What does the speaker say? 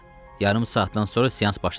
Yarım saatdan sonra seans başlanır.